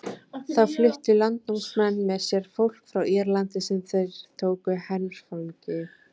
Þá fluttu landnámsmenn með sér fólk frá Írlandi sem þeir tóku herfangi.